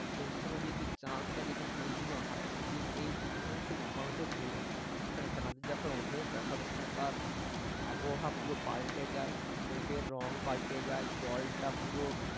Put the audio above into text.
সেই সময় যদি চাঁদটা যেদিন পূর্ণিমা হয় সেদিন এই এখানে খুব মানুষের ভিড় হয় এখানে চাঁদ যখন ওঠে তখন এখানকার আবহাওয়া পুরো পাল্টে যায় মেঘের রং পাল্টে যায় জলটা পুরো